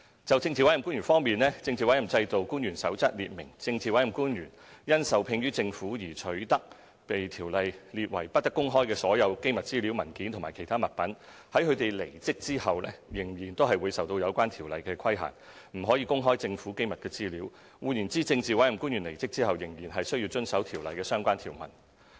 就政治委任官員方面，《政治委任制度官員守則》列明，政治委任官員因受聘於政府而取得被《條例》列為不得公開的所有機密資料、文件或其他物品，在他們離職後仍會受有關條例規限，不可公開政府機密資料；換言之，政治委任官員離職後仍須遵守《條例》的相關條文。